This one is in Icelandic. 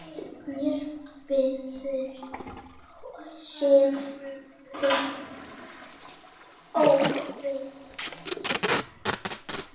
Mér verður hugsað til Ófeigs.